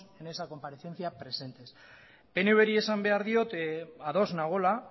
en esa comparecencia presente pnvri esan behar diot ados nagoela